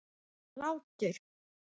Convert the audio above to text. Og hlátur.